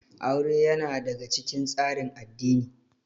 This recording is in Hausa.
Aure ya na daga cikin tsarin addini